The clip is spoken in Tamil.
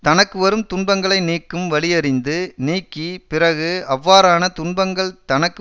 தனக்குவரும் துன்பங்களை நீக்கும் வழியறிந்து நீக்கி பிறகு அவ்வாறான துன்பங்கள் தனக்கு